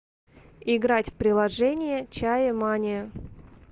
играть в приложение чаемания